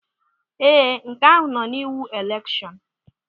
Ee, nke ahụ nọ n'iwu elekshọn.